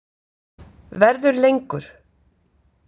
Verður lengur.